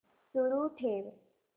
सुरू ठेव